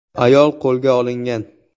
Ayol qo‘lga olingan.